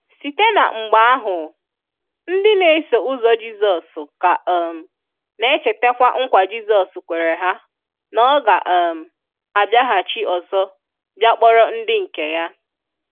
Site na mgbe ahu, ndi n'eso ụzọ Jisos ka um n'echetakwa nkwa Jisọs kwere ha na O ga um abiaghachi ọsọ bia kporo ndi nke Ya.